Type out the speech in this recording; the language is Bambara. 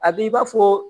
A b'i b'a fɔ